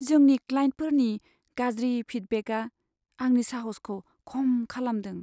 जोंनि क्लाइन्टफोरनि गाज्रि फिडबेकआ आंनि साहसखौ खम खालामदों।